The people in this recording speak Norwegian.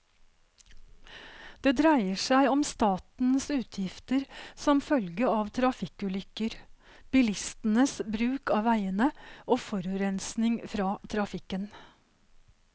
Det dreier seg om statens utgifter som følge av trafikkulykker, bilistenes bruk av veiene og forurensning fra trafikken.